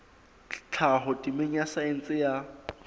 tlhaho temeng ya saense ya